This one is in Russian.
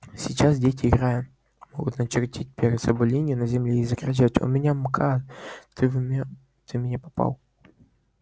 сейчас дети играя могут начертить перед собой линию на земле и закричать у меня мкад ты в меня не попал